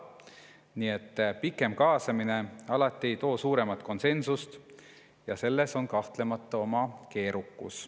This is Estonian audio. Nii et pikem kaasamine alati ei too suuremat konsensust ja selles on kahtlemata oma keerukus.